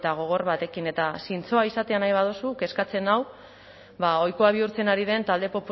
gogor batekin eta zintzoa izatea nahi baduzu kezkatzen nau ohikoa bihurtzen ari den talde